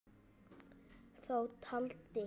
Þá taldi